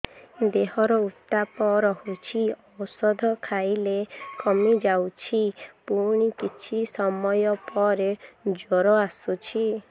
ଦେହର ଉତ୍ତାପ ରହୁଛି ଔଷଧ ଖାଇଲେ କମିଯାଉଛି ପୁଣି କିଛି ସମୟ ପରେ ଜ୍ୱର ଆସୁଛି